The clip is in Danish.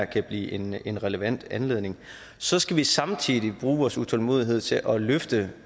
kan blive en en relevant anledning så skal vi samtidig bruge vores utålmodighed til at løfte